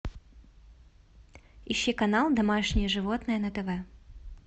ищи канал домашние животные на тв